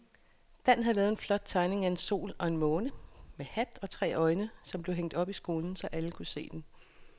Dan havde lavet en flot tegning af en sol og en måne med hat og tre øjne, som blev hængt op i skolen, så alle kunne se den.